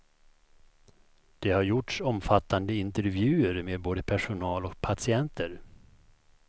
Det har gjorts omfattande intervjuer med både personal och patienter.